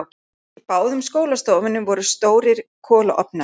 Í báðum skólastofunum voru stórir kolaofnar.